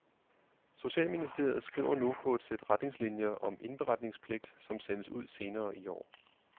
Socialministeriet skriver nu på et sæt retningslinier om indberetningspligt, som sendes ud senere i år.